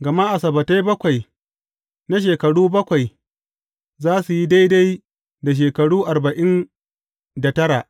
Gama asabbatai bakwai na shekaru bakwai za su yi daidai da shekaru arba’in da tara.